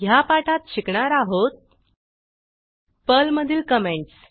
ह्या पाठात शिकणार आहोत पर्लमधील कॉमेंटस